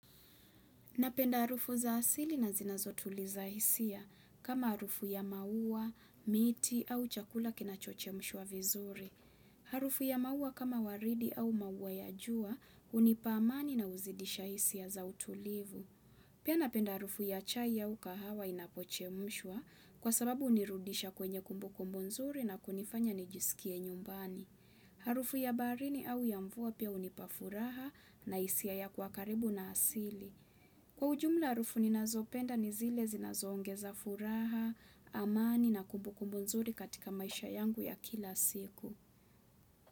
Napenda harufu za asili na zinazotuliza hisia kama harufu ya maua, miti au chakula kinachochemshwa vizuri. Harufu ya maua kama waridi au maua ya jua hunipa amani na huzidisha hisia za utulivu. Pia napenda harufu ya chai ya kahawa inapochemshwa kwa sababu hunirudisha kwenye kumbukumbu nzuri na kunifanya nijisikie nyumbani. Harufu ya baharini au ya mvua pia hunipa furaha na hisia ya kuwa karibu na asili. Kwa ujumla harufu ninazopenda ni zile zinazoongeza furaha, amani na kumbukumbu nzuri katika maisha yangu ya kila siku.